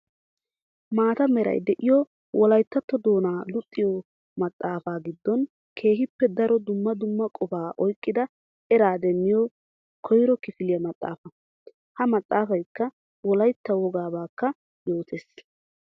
Maata meray de'iyo wolayttatto doonaa luxiyo maxafay giddon keehippe daro dumma dumma qofaa oyqqida eraa demmiyo koyro kifiliya maxafa. Ha maxafaykka wolaytta wogaabakka yoottees.